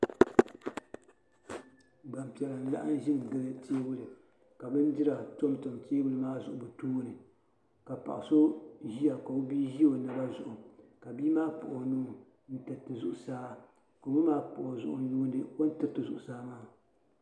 Gban piɛla n laɣim nʒi gili teebuli ka bindira kon gili teebuli maa n ʒɛ ɔtooni ka paɣi sɔ ʒiya. ka ɔbii ʒi ɔ naba zuɣu, ka bii maa kpuɣi ɔnuu n tiri zuɣu saa, ka ɔma maa n. kpuɣi o zuɣu n yuuni ɔni tiriti zuɣu saa maa.